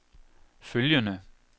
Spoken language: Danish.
følgende